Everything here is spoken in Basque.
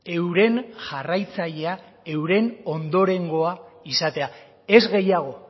euren jarraitzailea euren ondorengoa izatea ez gehiago